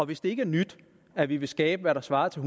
hvis det ikke er nyt at vi vil skabe hvad der svarer til